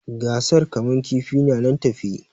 Gasar kama kifi na nan tafe